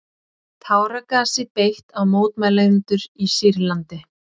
Táragasi beitt á mótmælendur í Sýrlandi